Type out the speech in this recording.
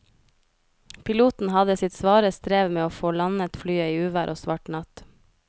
Piloten hadde sitt svare strev med å få landet flyet i uvær og svart natt.